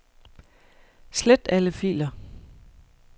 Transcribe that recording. Slet alle filer.